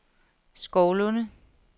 Skovlunde